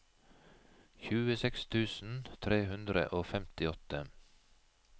tjueseks tusen tre hundre og femtiåtte